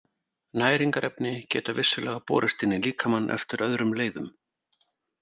Næringarefni geta vissulega borist inn í líkamann eftir öðrum leiðum.